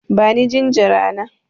Bani jinjira na!